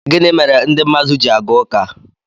gịnị mere ndị mmadụ ji aga ụka